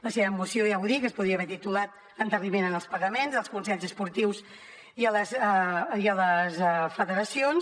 la seva moció ja ho dic es podria haver titulat endarreriment en els pagaments als consells esportius i a les federacions